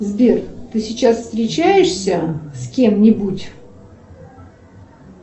сбер ты сейчас встречаешься с кем нибудь